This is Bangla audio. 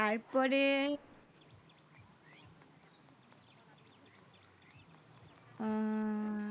হম